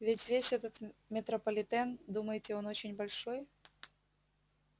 ведь весь этот метрополитен думаете он очень большой